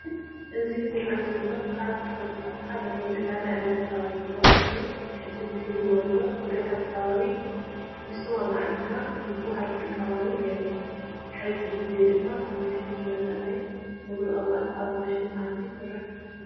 እዚ ዝርአ ዘሎ ካብ ተክሊታት ሓደ ኮይኑ ዕረ እዳተበሃለ ዝፅዋዕ ኮይኑ ቅድም ክብል ወለዲ ብገጠር ከባቢ ንስዋ ማዕጠና ዝባሃል ይጥቀመሉ ነይረን ብሕዚ ግዘ ድማ ተማሓይሹ ዝመፀ ናይ ፀግሪ ቅባኣት ኣብ ማሽን ኣትዩ ይስራሕ እዩ።